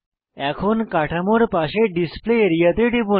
এখন কাঠামোর পাশে ডিসপ্লে আরিয়া তে টিপুন